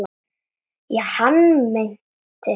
Já, hann meinti það.